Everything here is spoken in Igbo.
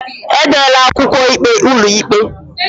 Edela akwụkwọ ikpe ụlọikpe